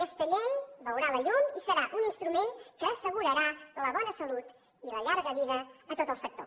aquesta llei veurà la llum i serà un instrument que assegurarà la bona salut i la llarga vida a tot el sector